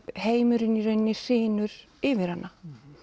heimurinn í rauninni hrynur yfir hana